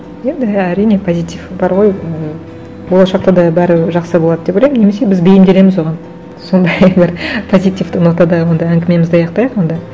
енді әрине позитив бар ғой ы болашақта да бәрібір жақсы болады деп ойлаймын немесе біз бейімделеміз оған сондай бір позитивті нотада онда әңгімемізді аяқтайық онда